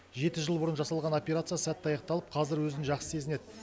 жеті жыл бұрын жасалған операция сәтті аяқталып қазір өзін жақсы сезінеді